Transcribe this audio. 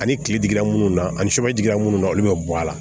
Ani kile digira munnu na ani sɛbɛn digira minnu na olu bɛ bɔ a la